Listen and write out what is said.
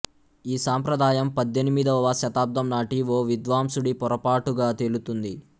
ఈ సంప్రదాయం పద్దెనిమిదవ శతాబ్దంనాటి ఓ విద్వాంసుడి పొరపాటుగా తేలుతుంది